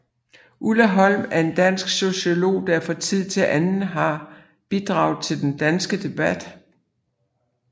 Ulla Holm er en dansk sociolog der fra tid til anden har bidraget til den danske debat